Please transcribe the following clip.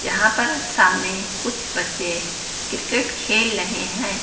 यहां पर सामने कुछ बच्चे क्रिकेट खेल लहे हैं।